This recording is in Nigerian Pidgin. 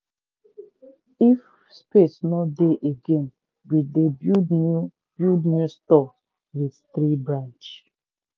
if space no dey again we dey build new build new store with tree branch.